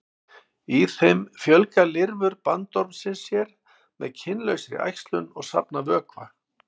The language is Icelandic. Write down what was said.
Í þeim fjölga lirfur bandormsins sér með kynlausri æxlun og safna vökva.